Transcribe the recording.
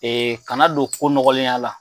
Kana don ko nɔgɔlenya la.